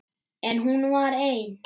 En hún var ein.